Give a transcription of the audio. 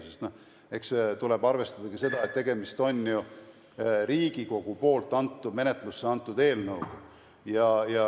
Sest eks tuleb arvestada ka seda, et tegemist on ju Riigikogust menetlusse antud eelnõuga.